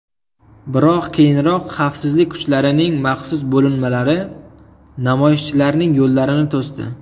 Biroq keyinroq xavfsizlik kuchlarining maxsus bo‘linmalari namoyishchilarning yo‘llarini to‘sdi.